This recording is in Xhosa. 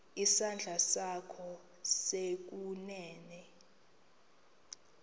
isandla sakho sokunene